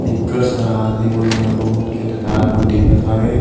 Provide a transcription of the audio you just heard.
पीकर सारा आदमी मन है बहुत के ददार मन दिखत हवे।